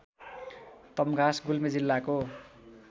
तम्घास गुल्मी जिल्लाको